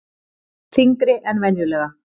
Þyngri en venjulega.